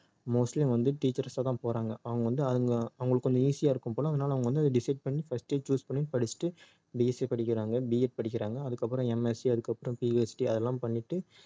mostly அவங்க வந்து teachers ஆ தான் போறாங்க அவங்க வந்து அதுல அவங்களுக்கு கொஞ்சம் easy ஆ இருக்கும் போல அதனால அவங்க வந்து அதை decide பண்ணி first ஏ அதை choose பண்ணி படிச்சிட்டு BSC படிக்கிறாங்க B ed படிக்கிறாங்க அதுக்கப்புறம் MSC அதுக்கப்புறம் PhD அதெல்லாம் பண்ணிட்டு